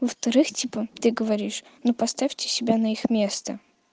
во-вторых типа ты говоришь ну поставьте себя на их место